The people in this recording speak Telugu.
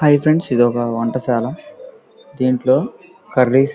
హాయ్ ఫ్రెండ్స్ ఇది ఒక వంట శాల దింట్లో కర్రీస్ --